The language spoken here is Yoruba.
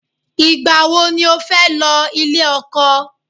Ìgbà wo ni o fẹ́ lọ ilé ọkọ?